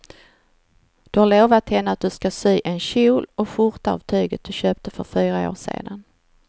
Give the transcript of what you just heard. Du har lovat henne att du ska sy en kjol och skjorta av tyget du köpte för fyra år sedan.